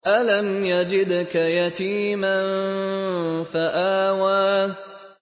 أَلَمْ يَجِدْكَ يَتِيمًا فَآوَىٰ